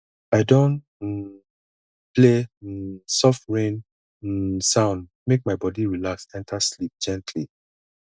i don um play um soft rain um sound make my body relax enter sleep gently